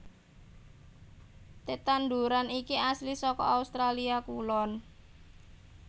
Tetandhuran iki asli saka Australia Kulon